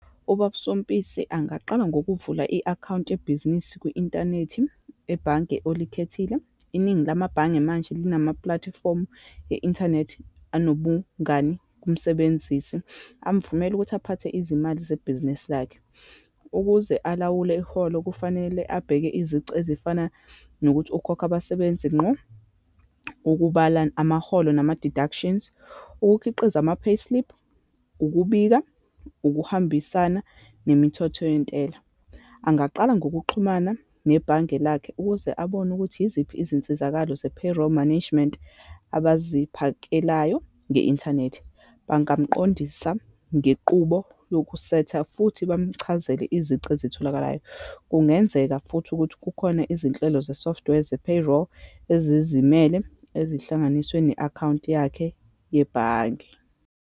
Ubab'Sompisi angaqala ngokuvula i-akhawunti yebhizinisi kwi-inthanethi, ebhange olikhethile. Iningi lamabhange manje linamapulatifomu e-inthanethi anobungani kumsebenzisi, amvumela ukuthi aphathe izimali zebhizinisi lakhe. Ukuze alawule iholo, kufanele abheke izici ezifana nokuthi ukhokha abasebenzi ngqo, ukubala amaholo nama-deductions, ukukhiqiza ama-payslip, ukubika ukuhambisana nemithetho yentela. Angaqala ngokuxhumana nebhange lakho ukuze abone ukuthi iziphi izinsizakalo ze-payroll management abaziphakelayo nge-inthanethi. Bangamqondisa ngequbo yokusetha futhi bamchazele izici ezitholakalayo. Kungenzeka futhi ukuthi kukhona izinhlelo ze-software ze-payroll ezizimele, ezihlanganiswe ne-akhawunti yakhe yebhange.